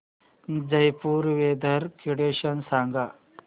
Jaipur weather condition सांगा